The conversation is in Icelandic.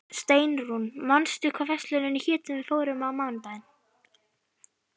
Steinrún, manstu hvað verslunin hét sem við fórum í á mánudaginn?